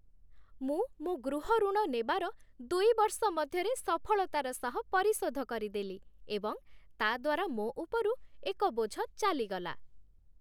ମୁଁ ମୋ ଗୃହ ଋଣ ନେବାର ଦୁଇ ବର୍ଷ ମଧ୍ୟରେ ସଫଳତାର ସହ ପରିଶୋଧ କରିଦେଲି ଏବଂ ତା'ଦ୍ଵାରା ମୋ ଉପରୁ ଏକ ବୋଝ ଚାଲିଗଲା